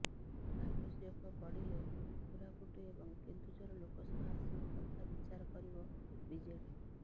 ଆବଶ୍ୟକ ପଡ଼ିଲେ କୋରାପୁଟ ଏବଂ କେନ୍ଦୁଝର ଲୋକସଭା ଆସନ କଥା ବିଚାର କରିବ ବିଜେଡି